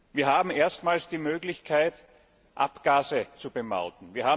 Wir haben erstmals die Möglichkeit, Abgase zu bemauten.